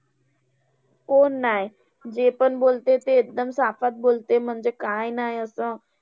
कोण नाय! जे पण बोलते, ते एकदम चापात बोलते म्हणजे काय नाय असं.